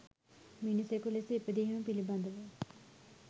මිනිසෙකු ලෙස ඉපදීම පිලිබදව